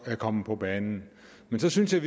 er kommet på banen men så synes jeg